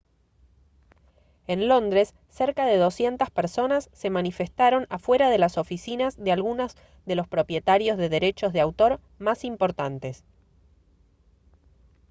en londres cerca de 200 personas se manifestaron afuera de las oficinas de algunos de los propietarios de derechos de autor más importantes